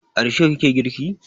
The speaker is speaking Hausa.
A risho ki ke girki?